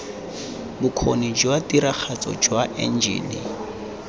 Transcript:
bokgoni jwa tiragatso jwa enjene